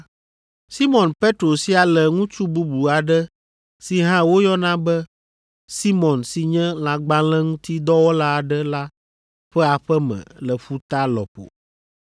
Simɔn Petro sia le ŋutsu bubu aɖe si hã woyɔna be Simɔn si nye lãgbalẽŋutidɔwɔla aɖe la ƒe aƒe me le ƒuta lɔƒo.”